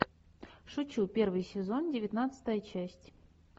шучу первый сезон девятнадцатая часть